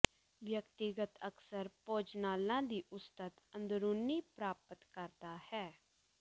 ਵਿਅਕਤੀਗਤ ਅਕਸਰ ਭੋਜਨਾਲਾ ਦੀ ਉਸਤਤ ਅੰਦਰੂਨੀ ਪ੍ਰਾਪਤ ਕਰਦਾ ਹੈ